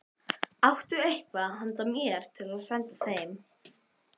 Áttu eitthvað handa mér til að senda þeim?